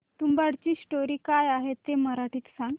तुंबाडची स्टोरी काय आहे ते मराठीत सांग